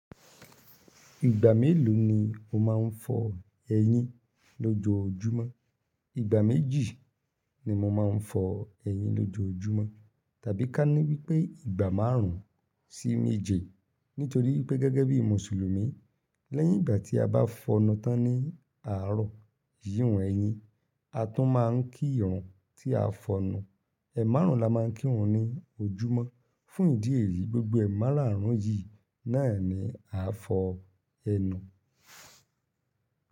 Ìgbà mélòó ni o máa ń fọ eyín lójojúmọ́? Ìgbà méjì ni mo máa ń fọ eyín lójojúmọ́ tàbí ká ní wípé ìgbà márùn ún sí méje. Nítorí pé gẹ́gẹ́ bí Mùsùlùmí, lẹ́yìn ìgbà tí a bá fọnu tán ní àárọ̀ iyi oun ẹyìn, a tún máa ń kírun tí a fọnu. Ẹ̀márun la máa ń kírun ní ojúmọ́. Fún ìdí èyí, gbogbo ẹ̀máràrún yìí náà ni a fọ ẹnu.